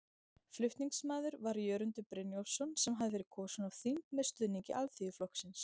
Flutningsmaður var Jörundur Brynjólfsson sem hafði verið kosinn á þing með stuðningi Alþýðuflokksins.